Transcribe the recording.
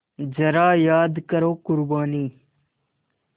ज़रा याद करो क़ुरबानी